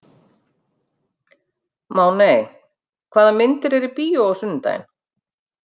Máney, hvaða myndir eru í bíó á sunnudaginn?